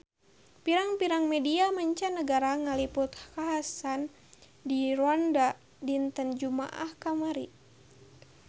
Pirang-pirang media mancanagara ngaliput kakhasan di Rwanda dinten Jumaah kamari